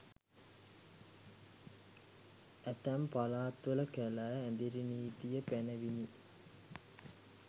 ඇතැම් පළාත්වල කැලෑ ඇඳිරි නීතිය පැනවිණි